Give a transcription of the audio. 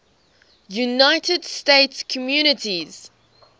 united states communities